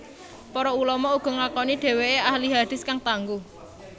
Para ulama uga ngakoni dheweke ahli hadits kang tangguh